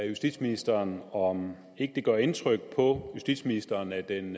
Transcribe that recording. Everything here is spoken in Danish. justitsministeren om ikke det gør indtryk på justitsministeren at den